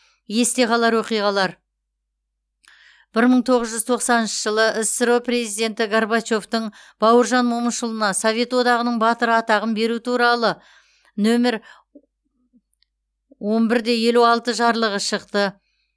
есте қалар оқиғалар бір мың тоғыз жүз тоқсаныншы жылы ссро президенті горбачевтың бауыржан момышұлына совет одағының батыры атағын беру туралы нөмір он бір де елу алты жарлығы шықты